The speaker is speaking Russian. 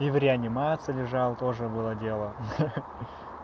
и в реанимации лежал тоже было дело ха-ха